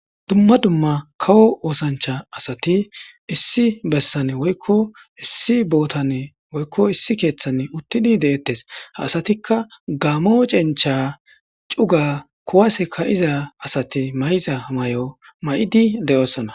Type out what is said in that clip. Dumma dumma kawo oosancha asati issi bessane woykko issi bootane woykko issi keeththan uttidi de'ettes haasatikka gaamo cencha cuga kuwase ka'iza asati may'za may'o ma'idi de'ossana